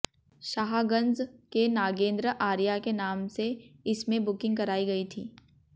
शाहगंज के नागेंद्र आर्या के नाम से इसमें बुकिंग कराई गई थी